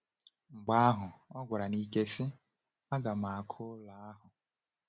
Mgbe ahụ ọ gwara n’ike, sị: “Aga m ọkụ ụlọ ahụ!”